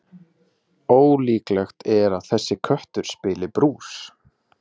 Ólíklegt er að þessi köttur spili brús.